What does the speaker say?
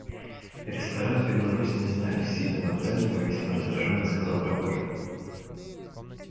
ресторан беларусь не знаю с сильным акцентом и весьма раздражённо сказал прохожий